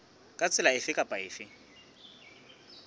ka tsela efe kapa efe